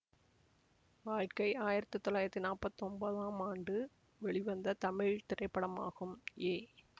வாழ்க்கை ஆயிரத்தி தொள்ளாயிரத்தி நாற்பத்தி ஒன்பதாம் ஆண்டு வெளிவந்த தமிழ் திரைப்படமாகும் ஏ